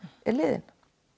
er liðin